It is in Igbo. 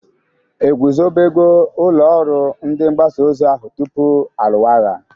Egwuzobego ụlọ ọrụ ndị mgbasa ozi ahu tupu alụwa agha?